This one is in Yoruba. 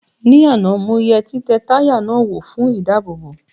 Ní àná mo yẹ títẹ táyà náà wò fún ìdáàbòbò